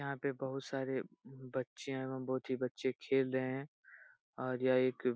यहाँ पे बहुत सारे बच्चे एवं बहुत ही बच्चे खेल रहे हैं और यह एक --